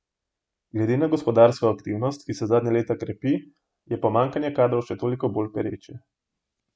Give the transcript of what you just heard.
Glede na gospodarsko aktivnost, ki se zadnja leta krepi, je pomanjkanje kadrov še toliko bolj pereče.